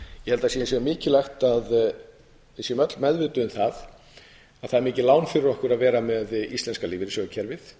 sé hins vegar mikilvægt að við séum öll meðvituð um það að það er mikið lán fyrir okkur að vera með íslenska lífeyrissjóðakerfið